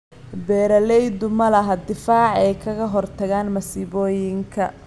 Beeraleydu ma laha difaac ay kaga hortagaan masiibooyinka.